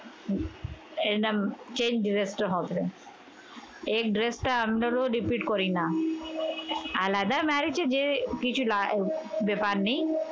এর নাম can dress তো হবে। এই dress টা আমরারও repeat করি না। আলাদা marriage এ যেয়ে কিছু লা ব্যাপার নেই।